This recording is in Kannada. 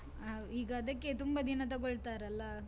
ಹಾ, ಈಗ ಅದಕ್ಕೆ ತುಂಬಾ ದಿನ ತಗೋಳ್ತಾರಲ್ಲಾ?